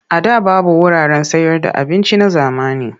A da babu wuraren sayarda abinci na zamani.